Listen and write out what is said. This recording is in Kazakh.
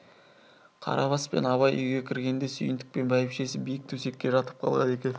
қарабас пен абай үйге кіргенде сүйіндік пен бәйбішесі биік төсекке жатып қалған екен